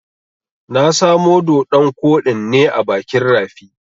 Na samo doɗon koɗin ne a bakin rafi.